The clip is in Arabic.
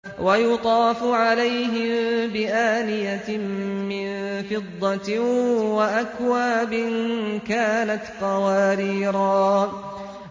وَيُطَافُ عَلَيْهِم بِآنِيَةٍ مِّن فِضَّةٍ وَأَكْوَابٍ كَانَتْ قَوَارِيرَا